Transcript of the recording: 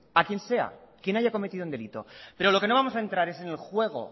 a quien sea quien haya cometido un delito pero lo que no vamos a entrar es en el juego